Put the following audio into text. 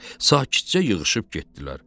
Sakitcə yığışıb getdilər.